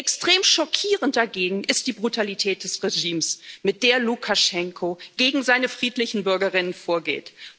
Extrem schockierend dagegen ist die Brutalität des Regimes, mit der Lukaschenko gegen seine friedlichen Bürgerinnen und Bürger vorgeht.